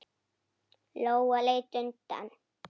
Lóa leit undan.